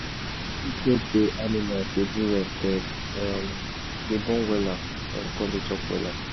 when shade da animal da do well dem um da born wella um kum da chop wella